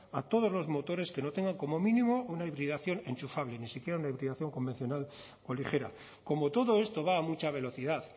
a todos los motores que no tengan como mínimo una hibridación enchufable ni siquiera una hibridación convencional o ligera como todo esto va a mucha velocidad